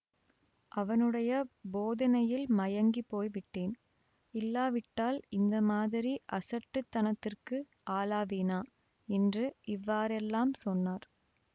அவனுடைய போதனையில் மயங்கிப் போய் விட்டேன் இல்லாவிட்டால் இந்த மாதிரி அசட்டுத்தனத்திற்கு ஆளாவேனா என்று இவ்வாறெல்லாம் சொன்னார்